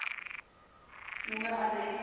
nommer adres poskode